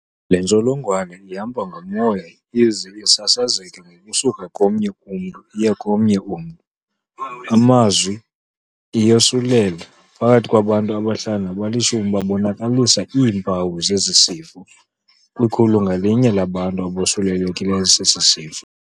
Le ntsholongwane ihamba ngomoya ize sasazeke ngokusuka komnye umntu iye komnye, ngamanye amazwi iyosulela. Phakathi kwabantu abahlanu nabalishumi babonakalisa iimpawu zesi sifo, kwikhulu ngalinye labantu abosulelekileyo esi sifo.